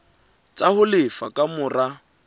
tsa ho lefa ka mora